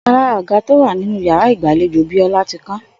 Ò̩kan lára àga tó wà nínú yàrá ìgbàlejò Bió̩lá ti kán